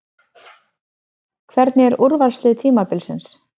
Hvernig er úrvalsliðið tímabilsins?